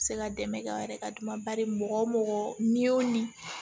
Se ka dɛmɛ kɛ aw yɛrɛ ka dama bari mɔgɔ o mɔgɔ n'i y'o min